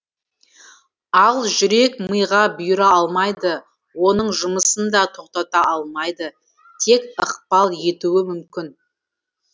ал жүрек мыйға бұйыра алмайды оның жұмысын да тоқтата алмайды тек ықпал етуі мүмкін